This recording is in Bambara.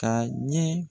Ka ɲɛ